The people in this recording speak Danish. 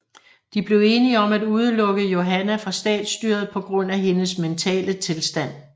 De blev enige om at udelukke Johanna fra statsstyret på grund af hendes mentale tilstand